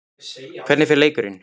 Hvernig fer leikurinn?